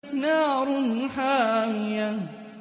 نَارٌ حَامِيَةٌ